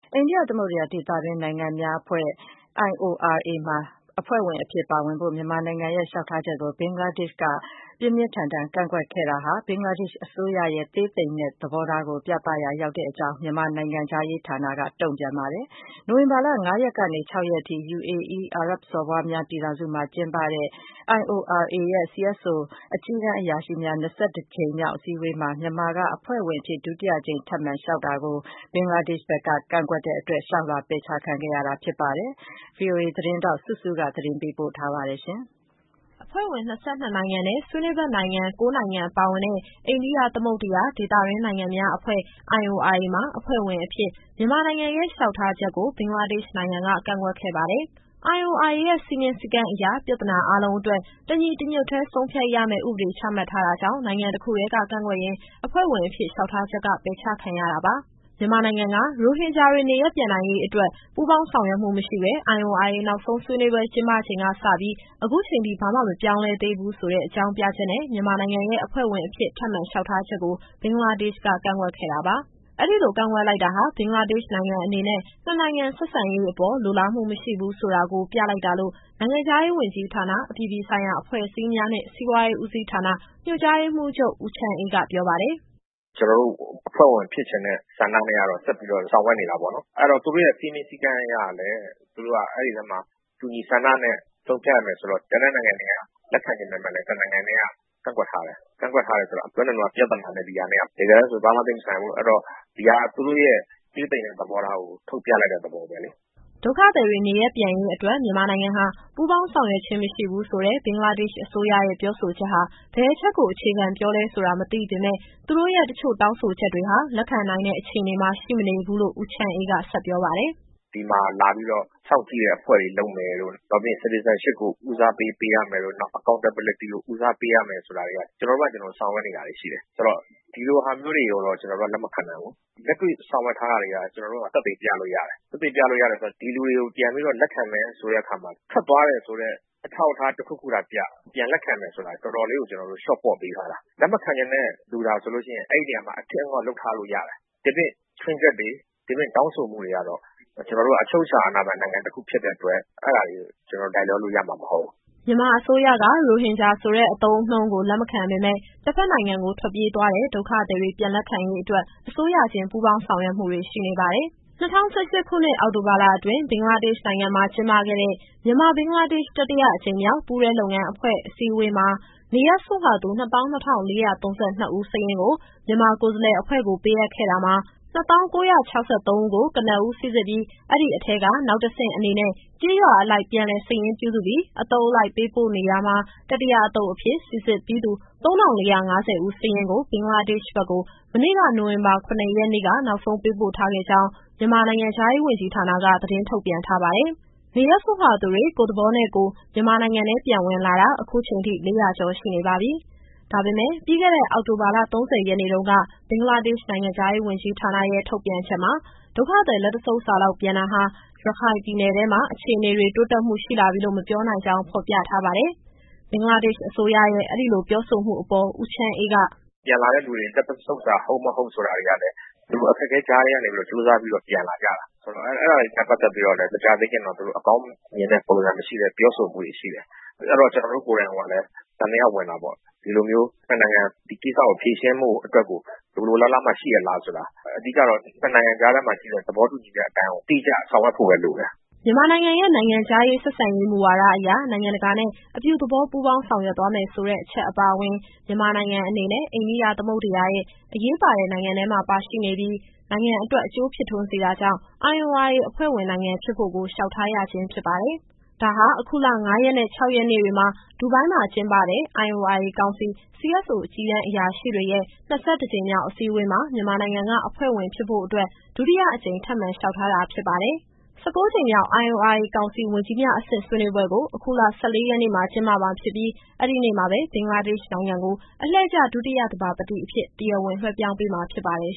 အိန္ဒိယသမုဒ္ဒရာ ဒေသတွင်းနိုင်ငံများအဖွဲ့ (IORA) မှာ အဖွဲ့ဝင်အဖြစ်ပါဝင်ဖို့ မြန်မာနိုင်ငံရဲ့ လျှောက်ထားချက်ကို ဘင်္ဂလားဒေ့ရှ်နိုင်ငံက ပြင်းပြင်းထန်ထန် ကန့်ကွက်ခဲ့တာဟာ ဘင်္ဂလားဒေ့ရှ်အစိုးရရဲ့ သေးသိမ်တဲ့သဘောထားကိုပြသရာရောက်ကြောင်း မြန်မာနိုင်ငံခြားရေးဌာနက တုံ့ပြန်လိုက်ပါတယ်။ နိုဝင်ဘာလ ၅ ရက်ကနေ ၆ ရက်နေ့အထိ UAE အာရပ်စော်ဘွားများ ပြည်ထောင်စုမှာ ကျင်းပတဲ့ IORA ကောင်စီရဲ့ CSO အကြီးတန်းအရာရှိများ ၂၁ ကြိမ်မြောက် အစည်းအဝေးမှာ မြန်မာက အဖွဲ့ဝင်အဖြစ် ဒုတိယအကြိမ် ထပ်မံလျှောက်ထားတာကို ဘင်္ဂလားဒေ့ရှ်က ကန့်ကွက်တဲ့အတွက် လျှောက်လွှာ ပယ်ချခံခဲ့ရတာပါ။ ဒီအကြောင်းအပြည့်အစုံကို ဗွီအိုအေသတင်းထောက် စုစုကမေးမြန်း ပေးပို့ထားပါတယ်။ အဖွဲ့ဝင် ၂၂ နိုင်ငံနဲ့ ဆွေးနွေးဖက်နိုင်ငံ ၉ နိုင်ငံပါဝင်တဲ့ အိန္ဒိယသမုဒ္ဒရာ ဒေသတွင်းနိုင်ငံများအဖွဲ့ (IORA) မှာ အဖွဲ့ဝင်အဖြစ် မြန်မာနိုင်ငံရဲ့ လျှောက်ထားချက်ကို ဘင်္ဂလားဒေ့ရှ်နိုင်ငံက ကန့်ကွက်ခဲ့ပါတယ်။ IORA ရဲ့ စည်းမျဉ်းစည်းကမ်းအရ ပြဿနာအားလုံးအတွက် တညီတညွတ်ထဲ ဆုံးဖြတ်ရမယ့် ဥပဒေ ချမှတ်ထားတာကြောင့် နိုင်ငံတခုတည်းက ကန့်ကွက်ရင် အဖွဲ့ဝင်အဖြစ်လျှောက်ထားချက်က ပယ်ချခံရတာပါ။ မြန်မာနိုင်ငံက ရိုဟင်ဂျာတွေ နေရပ်ပြန်ရေးအတွက် ပူးပေါင်းဆောင်ရွက်မှုမရှိဘဲ IORA နောက်ဆုံးဆွေးနွေးပွဲ ကျင်းပချိန်ကစပြီး အခုချိန်ထိ ဘာမှမပြောင်းလဲသေးဘူးဆိုတဲ့ အကြောင်းပြချက်နဲ့ မြန်မာနိုင်ငံရဲ့အဖွဲ့ဝင်အဖြစ် ထပ်မံလျှောက်ထားချက်ကို ဘင်္ဂလားဒေ့ရှ်က ကန့်ကွက်ခဲ့တာပါ။ အဲဒီလိုကန့်ကွက်လိုက်တာဟာ ဘင်္ဂလားဒေ့ရှ်နိုင်ငံအနေနဲ့ နှစ်နိုင်ငံဆက်ဆံရေးအပေါ် လိုလားမှုမရှိဘူးဆိုတာကို ပြလိုက်တာလို့ နိုင်ငံခြားရေးဝန်ကြီးဌာန၊ အပြည်ပြည်ဆိုင်ရာ အဖွဲ့အစည်းများနှင့် စီးပွားရေးဦးစီးဌာန ညွှန်ကြားရေးမှူးချုပ် ဦးချမ်းအေးက ပြောပါတယ်။ “ကျတော်တို့ အဖွဲ့ဝင်ဖြစ်ချင်တဲ့ဆန္ဒနဲ့ကတော့ ဆက်ပြီးတော့ဆောင်ရွက်နေတာပေါ့နော်။ အဲတော့ သူတို့ရဲ့စည်းမျဉ်းစည်းကမ်းအရလည်း သူတို့က အဲဒီထဲမှာ တူညီဆန္ဒနဲ့ဆုံးဖြတ်ရမယ်ဆိုတော့ ကျန်တဲ့နိုင်ငံတွေက လက်ခံချင်ပေမယ့်လည်း တနိုင်ငံထဲက ကန့်ကွက်ထားတယ်။ ကန့်ကွက်ထားတယ်ဆိုတော့ ခုနတုန်းက ပြဿနာနဲ့ ဒီဟာနဲ့က တကယ်တမ်းဆို ဘာမှသိပ်မဆိုင်ဘူး။ အဲတော့ ဒီဟာက သူတို့ရဲ့သေးသိမ်တဲ့ သဘောထားကို ထုတ်ပြလိုက်တဲ့သဘောပဲလေ။” ဒုက္ခသည်တွေနေရပ်ပြန်ရေးအတွက် မြန်မာနိုင်ငံဟာ ပူးပေါင်းဆောင်ရွက်ခြင်းမရှိဘူးဆိုတဲ့ ဘင်္ဂလားဒေ့ရှ်အစိုးရရဲ့ ပြောဆိုချက်ဟာ ဘယ်အချက်ကို အခြေခံပြောလဲဆိုတာ မသိရပေမယ့် သူတို့ရဲ့ တချို့တောင်းဆိုချက်တွေဟာ လက်ခံနိုင်တဲ့အခြေအနေမှာ ရှိမနေဘူးလို့ ဦးချမ်းအေးက ဆက်ပြောပါတယ်။ “ဒီမှာလာပြီးတော့ စောင့်ကြည့်တဲ့အဖွဲ့တွေ လုပ်မယ်တို့၊ နောက်ပြီးရင် Citizenship ကို ဦးစားပေး ပေးရမယ်တို့၊ နောက် Accountability ကို ဦးစားပေးရမယ် ဆိုတာတွေက ကျတော်တို့ဘာသာ ကျတော်တို့ ဆောင်ရွက်နေတာတွေ ရှိတယ်။ ဆိုတော့ ဒီလိုဟာမျိုးတွေကိုတော့ ကျတော်တို့က လက်မခံနိုင်ဘူး။ လက်တွေ့ဆောင်ရွက်ထားတာတွေက ကျတော်တို့က သက်သေပြလို့ရတယ်။ သက်သေပြလို့ရတယ်ဆိုတာ ဒီလူတွေကိုပြန်ပြီးတော့ လက်ခံမယ်ဆိုတဲ့အခါမှာ ထွက်သွားတယ်ဆိုတဲ့ အထောက်အထား တခုခုသာပြ။ ပြန်လက်ခံမယ်ဆိုတာ တော်တော်လေးကို ကျတော်တို့ လျှော့ပေါ့ပေးထားတာ။ လက်မခံချင်တဲ့ လူသာဆိုလို့ရှိရင် အဲဒီနေရာမှာ အထစ်အငေါ့လုပ်ထားလို့ ရတယ်။ ဒီပြင့် ခြွင်းချက်တွေ၊ ဒီပြင့် တောင်းဆိုမှုတွေကတော့ ကျတော်တို့က အချုပ်အချာအာဏာပိုင် နိုင်ငံတခုဖြစ်တဲ့အတွက် အဲဒါတွေ ကျတော်တို့က လိုက်လျောလို့ရမှာ မဟုတ်ဘူး။” မြန်မာအစိုးရက ရိုဟင်ဂျာဆိုတဲ့ အသုံးအနှုန်းကို လက်မခံပေမယ့် တဘက်နိုင်ငံကို ထွက်ပြေးသွားတဲ့ ဒုက္ခသည်တွေ ပြန်လက်ခံရေးအတွက် အစိုးရချင်း ပူးပေါင်း ဆောင်ရွက်မှုတွေ ရှိနေပါတယ်။ ၂၀၁၈ ခုနှစ်၊ အောက်တိုဘာလအတွင်း ဘင်္ဂလားဒေ့ရှ်နိုင်ငံမှာ ကျင်းပခဲ့တဲ့ မြန်မာ – ဘင်္ဂလားဒေ့ရှ် တတိယအကြိမ်မြောက် ပူးတွဲလုပ်ငန်းအဖွဲ့ အစည်းအဝေးမှာ နေရပ်စွန့်ခွာသူ ၂၂,၄၃၂ ဦးစာရင်းကို မြန်မာကိုယ်စားလှယ်အဖွဲ့ကို ပေးအပ်ခဲ့တာမှာ ၂၀,၉၆၃ ဦးကို ကနဦး စိစစ်ပြီး၊ အဲဒီအထဲက နောက်တဆင့်အနေနဲ့ ကျေးရွာအလိုက် ပြန်လည်စာရင်းပြုစုပြီး အသုတ်အလိုက် ပေးပို့နေတာမှာ သတ္တမအသုတ်အဖြစ် စိစစ်ပြီးသူ ၃,၄၅၀ ဦးစာရင်းကို ဘင်္ဂလားဒေ့ရှ်ဘက်ကို မနေ့က နိုဝင်ဘာ ၇ ရက်နေ့က နောက်ဆုံး ပေးပို့ထားခဲ့ကြောင်းမြန်မာနိုင်ငံခြားရေးဝန်ကြီးဌာနက သတင်းထုတ်ပြန်ထားပါတယ်။ နေရပ်စွန့်ခွာသူတွေ ကိုယ့်သဘောနဲ့ကိုယ် မြန်မာနိုင်ငံထဲပြန်ဝင်လာတာ အခုချိန်ထိ ၄၀၀ ကျော်ရှိနေပါပြီ။ ဒါပေမယ့် ပြီးခဲ့တဲ့ အောက်တိုဘာလ ၃၀ရက်နေ့တုန်းက ဘင်္ဂလားဒေ့ရှ် နိုင်ငံခြားရေးဝန်ကြီးဌာနရဲ့ ထုတ်ပြန်ချက်ထဲမှာ ဒုက္ခသည်လက်တဆုပ်စာလောက် ပြန်တာဟာ ရခိုင်ပြည်နယ်ထဲမှာ အခြေအနေတွေ တိုးတက်မှုရှိလာပြီလို့ မပြောနိုင်ကြောင်း ဖော်ပြထားပါတယ်။ ဘင်္ဂလားဒေ့ရှ်အစိုးရရဲ့ အဲဒီလိုပြောဆိုမှုအပေါ် ဦးချမ်းအေးက “ပြန်လာတဲ့လူတွေ လက်တဆုပ်စာ ဟုတ်၊ မဟုတ်ဆိုတာတွေကလည်း သူတို့ အခက်အခဲကြားထဲကနေ ကြိုးစားပြီးတော့ ပြန်လာကြတာ။ ဆိုတော့ အဲဒါတွေနဲ့ပတ်သက်ပြီးတော့လည်း မကြာသေးခင်တုန်းက သူတို့ အကောင်းမြင်တဲ့ ပုံစံမရှိတဲ့ ပြောဆိုမှုတွေ ရှိတယ်။ အဲတော့ ကျတော်တို့ကိုယ်တိုင်ကိုကလည်း သံသယဝင်တာပေါ့။ ဒီလိုမျိုး နှစ်နိုင်ငံ ဒီကိစ္စကိုဖြေရှင်းဖို့ အတွက်ကို လိုလိုလားလားမှ ရှိရဲ့လားဆိုတာ။ အဓိကတော့ နှစ်နိုင်ငံကြားထဲမှာရှိတဲ့ သဘောတူညီချက်အတိုင်းကို အတိအကျဆောင်ရွက်ဖို့ပဲလိုတယ်။” မြန်မာနိုင်ငံရဲ့ နိုင်ငံခြားရေးဆက်ဆံရေး မူဝါဒအရ နိုင်ငံတကာနဲ့ အပြုသဘော ပူးပေါင်းဆောင်ရွက်သွားမယ်ဆိုတဲ့ အချက်အပါအဝင်၊ မြန်မာနိုင်ငံအနေနဲ့ အိန္ဒိယသမုဒ္ဒရာရဲ့ အရေးပါတဲ့ နိုင်ငံထဲမှာရှိနေပြီး နိုင်ငံအတွက် အကျိုးဖြစ်ထွန်းစေတာကြောင့် IORA အဖွဲ့ဝင် နိုင်ငံဖြစ်ဖို့ကို လျှောက်ထားရခြင်းဖြစ်ပါတယ်။ ဒါဟာ အခုလ ၅ရက်နဲ့ ၆ရက်နေ့တွေမှာ ဒူဘိုင်းမှာကျင်းပတဲ့ IORA ကောင်စီ CSO အကြီးတန်းအရာရှိတွေရဲ့ ၂၁ ကြိမ်မြောက်အစည်းအဝေးမှာ မြန်မာနိုင်ငံက အဖွဲ့ဝင်ဖြစ်ဖို့အတွက် ဒုတိယအကြိမ် ထပ်မံလျှောက်ထားတာဖြစ်ပါတယ်။ ၁၉ ကြိမ်မြောက် IORA ကောင်စီ ဝန်ကြီးများအဆင့်ဆွေးနွေးပွဲကို အခုလ ၁၄ရက်နေ့မှာ ကျင်းပမှာဖြစ်ပြီး၊ အဲဒီနေ့မှာပဲ ဘင်္ဂလားဒေ့ရှ်နိုင်ငံကို အလှည့်ကျ ဒုတိယသဘာပတိအဖြစ် တရားဝင်လွှဲပြောင်းပေးမှာ ဖြစ်ပါတယ်